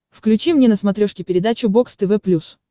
включи мне на смотрешке передачу бокс тв плюс